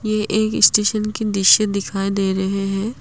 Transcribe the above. ये एक स्टेशन की दृश्य दिखाई दे रहे है।